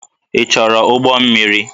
Ị chọrọ ụgbọ mmiri?